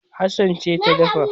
Hassan ce ta dafa